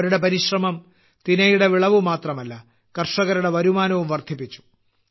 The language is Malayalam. അവരുടെ പരിശ്രമം തിനയുടെ വിളവു മാത്രമല്ല കർഷകരുടെ വരുമാനവും വർദ്ധിപ്പിച്ചു